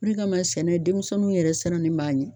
Min kan ka sɛnɛ denmisɛnninw yɛrɛ siran ne b'a ɲɛ.